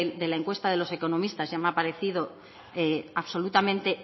de las encuestas de los economistas ya me ha parecido absolutamente